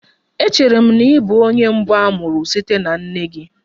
Echere m na ị bụ onye mbụ a mụrụ site na nne gị.